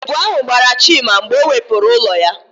Èbù ahụ gbara Chima mgbe ọ wepụrụ ụlọ ya.